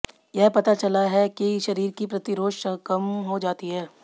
यह पता चला है कि शरीर की प्रतिरोध कम हो जाती है